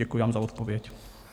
Děkuji vám za odpověď.